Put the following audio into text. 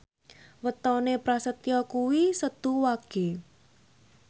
wetone Prasetyo kuwi Setu Wage